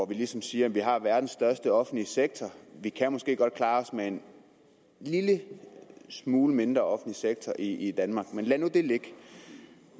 vi ligesom siger at vi har verdens største offentlige sektor og vi kan måske godt klare os med en lille smule mindre offentlig sektor i danmark men lad nu det ligge